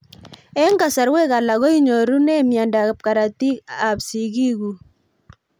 Eng'kasarwek alak ko inyorunee miondo karatik ab sigik kug